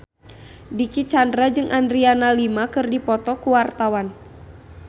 Dicky Chandra jeung Adriana Lima keur dipoto ku wartawan